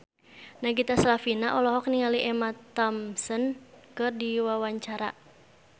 Nagita Slavina olohok ningali Emma Thompson keur diwawancara